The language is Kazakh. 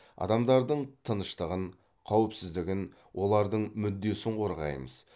адамдардың тыныштығын қауіпсіздігін олардың мүддесін қорғаймыз